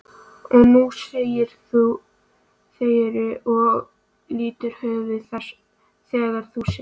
Og nú segirðu og lýtur höfði þegar þú segir það.